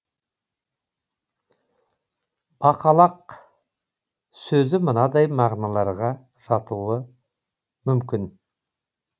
бақалақ сөзі мынадай мағыналарға жатуға мүмкін